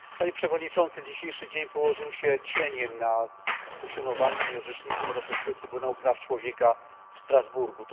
Panie Przewodniczący! Dzisiejszy dzień położył się cieniem na funkcjonowaniu i orzecznictwie Europejskiego Trybunału Praw Człowieka w Strasburgu.